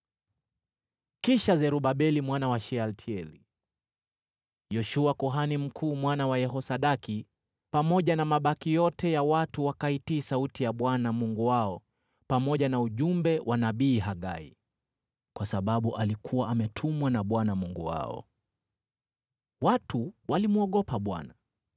Kisha Zerubabeli mwana wa Shealtieli, Yoshua kuhani mkuu mwana wa Yehosadaki, pamoja na mabaki yote ya watu wakaitii sauti ya Bwana Mungu wao pamoja na ujumbe wa nabii Hagai, kwa sababu alikuwa ametumwa na Bwana Mungu wao. Watu walimwogopa Bwana .